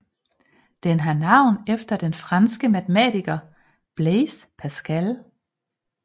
Den har navn efter den franske matematiker Blaise Pascal